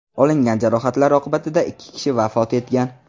Olingan jarohatlar oqibatida ikki kishi vafot etgan.